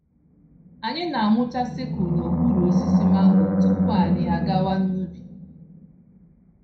Anyị na-amụcha sickle n'okpuru osisi mango tupu anyị àgawà n'ubi.